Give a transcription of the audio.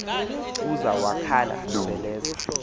kuza wakhala seleza